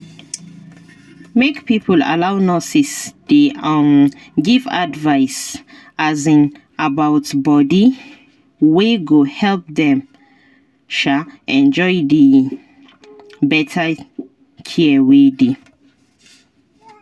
make people allow nurses dey um give advice um about body wey go help dem um enjoy the better care wey dey.